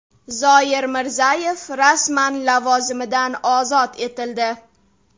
Zoir Mirzayev rasman lavozimidan ozod etildi.